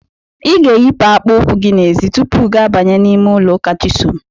I ga-eyipụ akpa ụkwụ gị n'ezi tupu gị abanye n'ime ụlọ ụka Chisom.